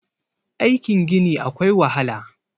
aikin Gini akwai wahala